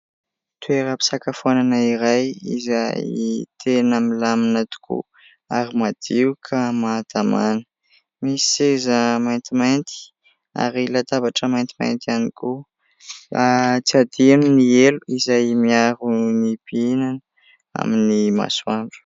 Toeram-pisakafoanana iray izay tena milamina tokoa ary madio ka mahatamana, misy seza maintimainty ary latabatra maintimainty ihany koa, tsy adino ny elo izay miaro ny mpihinana amin'ny masoandro.